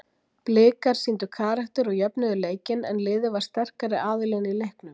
Blikar sýndu karakter og jöfnuðu leikinn en liðið var sterkari aðilinn í leiknum.